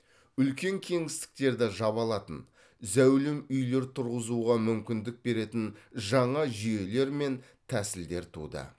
үлкен кеңістіктерді жаба алатын зәулім үйлер тұрғызуға мүмкіндік беретін жаңа жүйелер мен тәсілдер туды